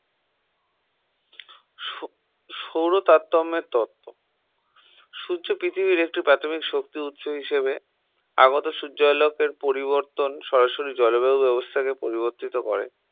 সৌর তারতম্যের তথ্য সূর্য পৃথিবীর একটি প্রাথমিক শক্তি উৎস হিসেবে আগত সূর্যালোকের পরিবর্তন সরাসরি জলবায়ু ব্যবস্থাকে পরিবর্তিত করে